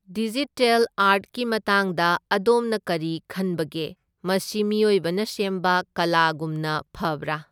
Digital ꯑꯥꯔꯠꯀꯤ ꯃꯇꯥꯡꯗ ꯑꯗꯣꯝꯅ ꯀꯔꯤ ꯈꯟꯕꯒꯦ? ꯃꯁꯤ ꯃꯤꯑꯣꯏꯕꯅ ꯁꯦꯝꯕ ꯀꯂꯥꯒꯨꯝꯅ ꯐꯕ꯭ꯔꯥ?